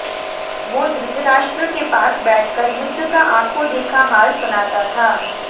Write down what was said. वो धृतराष्ट्र के पास बैठ कर युद्ध का आँखों देखा हाल सुनाता था